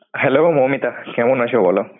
Hello, Moumita ক্যামন আছো বোলো.